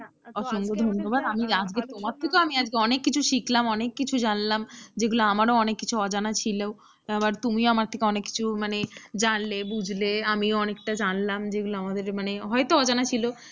অনেক কিছু শিখলাম অনেক কিছু জানলাম যেগুলো আমারও অনেক কিছু অজানা ছিল আবার তুমিও আমার থেকে অনেক কিছু মানে জানলে বুঝলে আমিও অনেকটা জানলাম যে যেগুলো আমাদের মানে হয়তো অজানা ছিল,